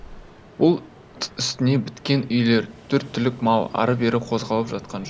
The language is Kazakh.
бұлт үстіне біткен үйлер төрт түлік мал ары бері қозғалып жатқан жұрт